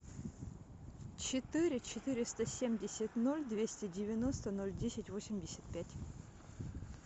четыре четыреста семьдесят ноль двести девяносто ноль десять восемьдесят пять